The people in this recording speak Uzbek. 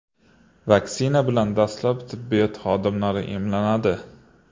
Vaksina bilan dastlab tibbiyot xodimlari emlanadi.